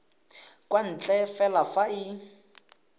kwa ntle fela fa e